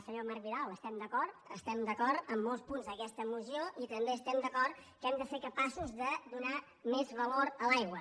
senyor marc vidal estem d’acord en molts punts d’aquesta moció i també estem d’acord que hem de ser capaços de donar més valor a l’aigua